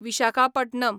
Visakhapatnam